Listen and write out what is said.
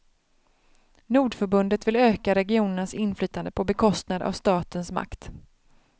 Nordförbundet vill öka regionernas inflytande på bekostnad av statens makt.